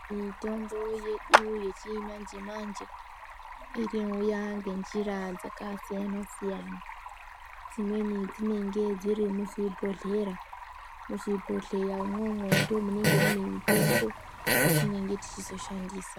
Mutombo yedu yechimanje manje inouya ngenjira dzakasiyana siyana. Dzimweni dzinenge dziri muzvibhohlera. Muzvibhohleyamwo umwomwo ndimo munenge mune mutombo yetinenge techizo shandisa.